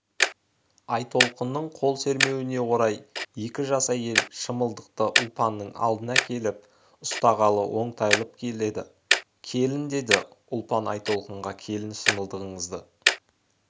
айтолқынның қол сермеуіне орай екі жас әйел шымылдықты ұлпанның алдына әкеліп ұстағалы оңтайланып келеді келін деді ұлпан айтолқынға келін шымылдығыңызды